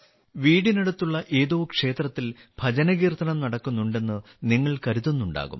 വീടിനടുത്തുള്ള ഏതോ ക്ഷേത്രത്തിൽ ഭജന കീർത്തനം നടക്കുന്നുണ്ടെന്ന് നിങ്ങൾ കരുതുന്നുണ്ടാവും